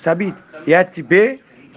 сабит я тебе